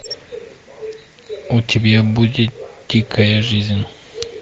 у тебя будет дикая жизнь